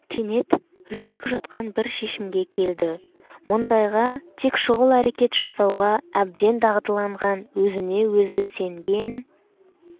кенет жүрек жұтқан бір шешімге келді мұндайға тек шұғыл әрекет жасауға әбден дағдыланған өзіне-өзі сенген